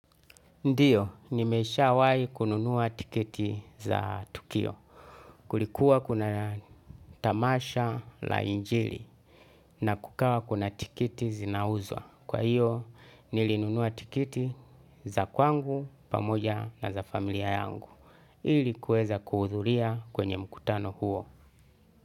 Ndiyo nimesha wai kununua tikiti za tukio kulikuwa kuna tamasha la injili na kukawa kuna tiketi zinauzwa kwa hiyo nilinunuwa tiketi za kwangu pamoja na za familia yangu ilikuweza kuhudhuria kwenye mkutano huo.